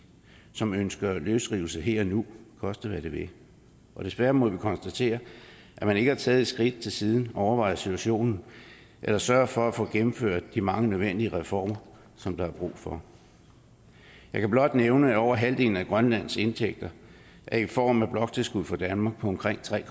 som ønsker løsrivelse her og nu koste hvad det vil desværre må vi konstatere at man ikke har taget et skridt til siden og overvejet situationen eller sørget for at få gennemført de mange nødvendige reformer som der er brug for jeg kan blot nævne at over halvdelen af grønlands indtægter er i form af bloktilskud fra danmark på omkring tre